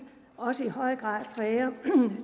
fra også i høj grad præger